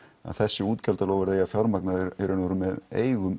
að þessi útgjaldaloforð eigi að fjármagna í raun og veru með eigum